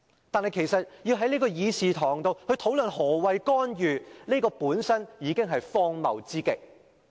但是，要在會議廳討論何謂"干預"，本身已是荒謬之極。